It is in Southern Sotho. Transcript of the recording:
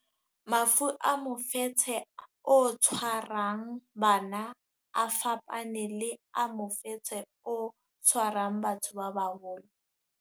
Mafu a mofetshe o tshwarang bana a fapane le a mofetshe o tshwarang batho ba baholo.